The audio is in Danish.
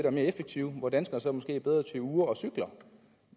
og mere effektivt hvor danskerne så måske er bedre til ure og cykler